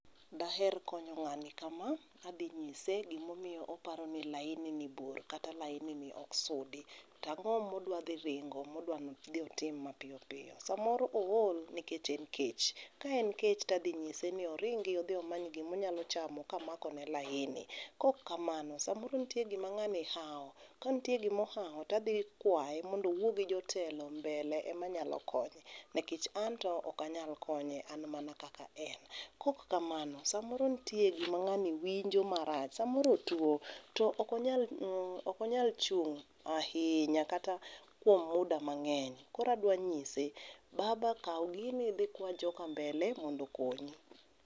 Da aher konyo ng'ani ka ma, adhi ny'ise gi ma omiyo oparo ni laini ni bor kata laini ni ok sudi to ang'o ma odwa dhi ringo ma odwa dhi timo ma piyo piyo sa moro ool nikech en kech to ka en kech adhi ng'ise ni oringi odhi omany gi ma onyalo chamo ka amako ne laini, kok kamano sa moro nitie gi ma ngani hawo, ka nitie gi ma ohawo to adhi kwaye mondo owuo gi jotelo mbele ema nyalo konyo nikech an to ok anyal konye an mana kaka en. Kok kamano sa moro nitie gi ma ng'ani winjo ma rach sa moro otwo to ok onyal nini ok onyal chung ahinya kata kuom muda mang'eny koro adhi ng'ise baba kaw gini idhi ikwa joka mbele mondo okonyi.